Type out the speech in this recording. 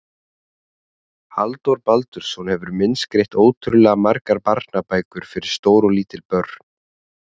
Halldór Baldursson hefur myndskreytt ótrúlega margar barnabækur fyrir stór og lítil börn.